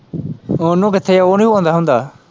ਓਹਨੂੰ ਕਿੱਥੇ ਉਹ ਨੀ ਪੋਂਦਾ ਹੁੰਦਾ।